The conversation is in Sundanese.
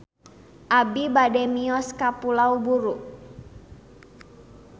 Abi bade mios ka Pulau Buru